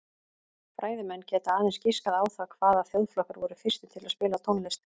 Fræðimenn geta aðeins giskað á það hvaða þjóðflokkar voru fyrstir til að spila tónlist.